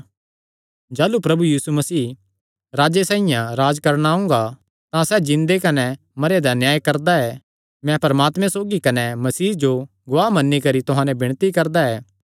जाह़लू प्रभु यीशु मसीह राजे साइआं राज्ज करणे ओंगा तां सैह़ जिन्दे कने मरेयां दा न्याय करदा ऐ मैं परमात्मे सौगी कने मसीह जो गवाह मन्नी करी तुहां नैं विणती करदा ऐ